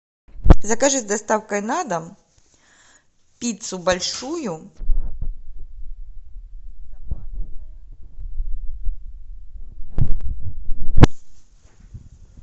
закажи с доставкой на дом пиццу большую